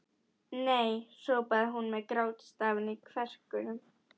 Nei hrópaði hún með grátstafinn í kverkunum.